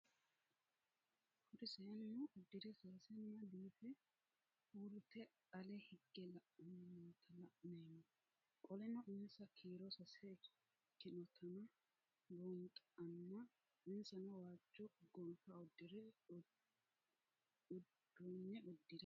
Kuri seenu udire sesena biife urite ale hige la'ani noota la'nemo qoleno insa kiiro sase ikinotana bunxana insano waajo qofe udune udire